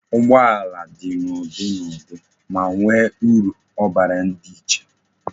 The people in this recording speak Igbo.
Ụgbọala dị n'ụdị na ụdị, ma nwe uru obara di iche